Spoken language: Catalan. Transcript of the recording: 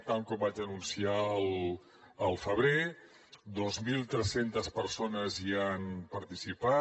tal com vaig anunciar al febrer dos mil tres cents persones hi han participat